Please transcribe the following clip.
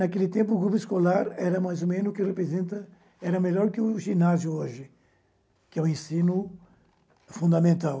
Naquele tempo, o grupo escolar era mais ou menos o que representa... Era melhor que o ginásio hoje, que é o ensino fundamental.